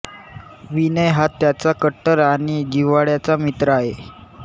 विनय हा त्याचा कट्टर आणि जिव्हाळ्याचा मित्र आहे